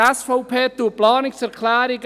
Die SVP unterstützt die Planungserklärungen